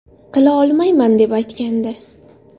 Qila olmayman”, deb aytgandi .